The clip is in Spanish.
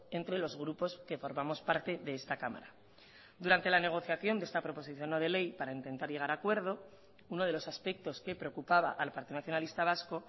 entre los grupos que formamos parte de esta cámara durante la negociación de esta proposición no de ley para intentar llegar a acuerdo uno de los aspectos que preocupaba al partido nacionalista vasco